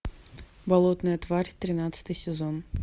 болотная тварь тринадцатый сезон